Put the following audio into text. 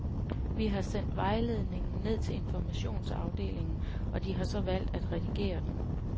Vi har sendt vejledningen ned til informationsafdelingen, og de har så valgt at redigere den.